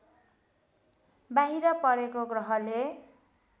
बाहिर परेको ग्रहले